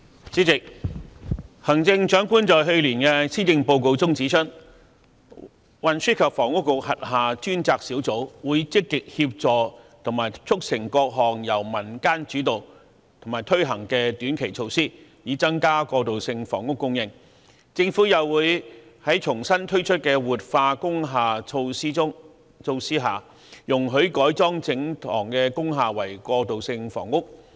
主席，行政長官在去年的《施政報告》中指出，運輸及房屋局轄下專責小組會積極協助和促成各項由民間主導和推行的短期措施，以增加過渡性住屋供應；政府又會在重新推出的活化工廈措施下，容許改裝整幢工廈為過渡性房屋。